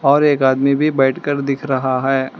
और एक आदमी भी बैठ कर दिख रहा है।